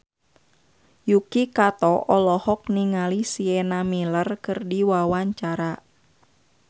Yuki Kato olohok ningali Sienna Miller keur diwawancara